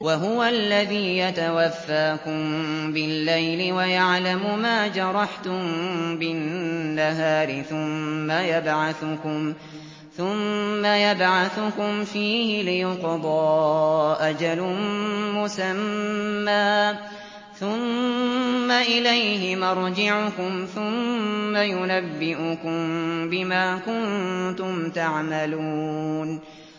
وَهُوَ الَّذِي يَتَوَفَّاكُم بِاللَّيْلِ وَيَعْلَمُ مَا جَرَحْتُم بِالنَّهَارِ ثُمَّ يَبْعَثُكُمْ فِيهِ لِيُقْضَىٰ أَجَلٌ مُّسَمًّى ۖ ثُمَّ إِلَيْهِ مَرْجِعُكُمْ ثُمَّ يُنَبِّئُكُم بِمَا كُنتُمْ تَعْمَلُونَ